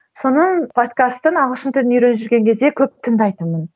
соның подкастын ағылшын тілін үйреніп жүрген кезде көп тыңдайтынмын